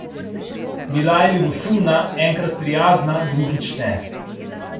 Bila je ljubosumna, enkrat prijazna, drugič ne.